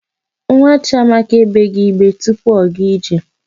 Nwa Chiamaka egbeghị igbe tupu ọ gaa ije.